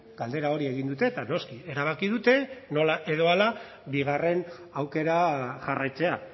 galdera hori egin dute eta noski erabaki dute nola edo hala bigarren aukera jarraitzea